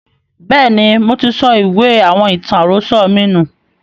Bẹ́ẹ̀ni, moti sọ ìwé àwọn ìtàn àròsọ̀ mi nù